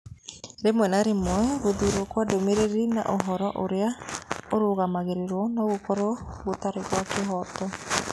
Rĩmwe na rĩmwe gũthuurwo kwa ndũmĩrĩri na ũhoro ũrĩa ũrũgamagĩrĩrũo no gũkorũo gũtarĩ gwa kĩhooto.